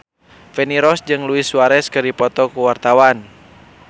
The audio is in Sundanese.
Feni Rose jeung Luis Suarez keur dipoto ku wartawan